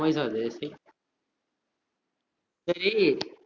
உன் voice ஆ அது சீய்ய் சேரி